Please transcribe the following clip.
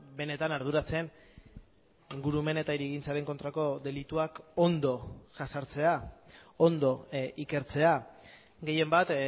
benetan arduratzen ingurumen eta hirigintzaren kontrako delituak ondo jazartzea ondo ikertzea gehienbat